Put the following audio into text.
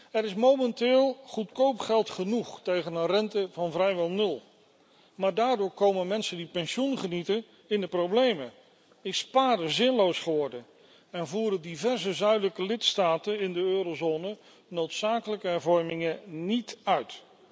Er is momenteel goedkoop geld genoeg tegen een rente van vrijwel nul, maar daardoor komen mensen die pensioen genieten in de problemen, is sparen zinloos geworden en voeren diverse zuidelijke lidstaten in de eurozone noodzakelijke hervormingen niet uit.